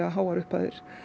á háar upphæðir